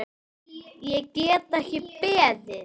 Ég get ekki beðið.